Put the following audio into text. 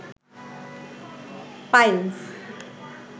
piles